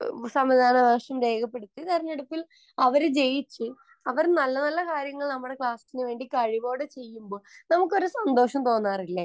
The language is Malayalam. സമ്മതിദാനാവകാശം രേഖപ്പെടുത്തി തിരഞ്ഞെടുപ്പിൽ അവർ ജയിച്ചു അവർ നല്ല നല്ല കാര്യങ്ങൾ അവരുടെ കഴിവോടെ ചെയ്യുമ്പോൾ നമുക്ക് ഒരു സന്തോഷം തോന്നാറില്ലേ